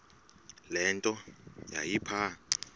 le nto yayipha